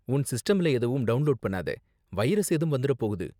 உன் சிஸ்டம்ல எதுவும் டவுண்லோட் பண்ணாத, வைரஸ் ஏதும் வந்துரப் போகுது.